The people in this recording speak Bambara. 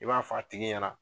I b'a fɔ a tigi ɲɛna.